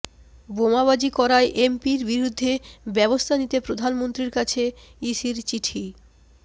বোমাবাজি করায় এমপির বিরুদ্ধে ব্যবস্থা নিতে প্রধানমন্ত্রীর কাছে ইসির চিঠি